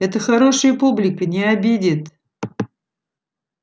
это хорошая публика не обидит